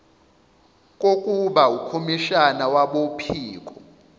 kokuba ukhomishana wabophiko